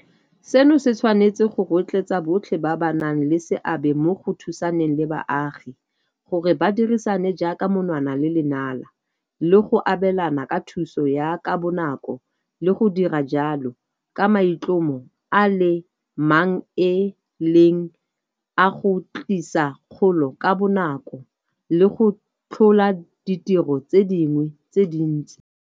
Seno se tshwanetse go rotloetsa botlhe ba ba nang le seabe mo go thusaneng le baagi gore ba dirisane jaaka monwana le lenala le go abelana ka thuso ya ka bonako le go dira jalo ka maitlhomo a le mang e leng a go tlisa kgolo ka bonako le go tlhola ditiro tse dingwe tse dintsi.